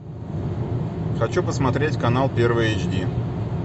хочу посмотреть канал первый эйч ди